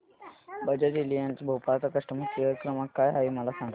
Bajaj Allianz Bhopal चा customer care क्रमांक काय आहे मला सांगा